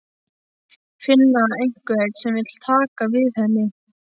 Finna einhvern sem vill taka við henni.